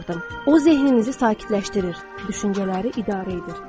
O zehininizi sakitləşdirir, düşüncələri idarə edir.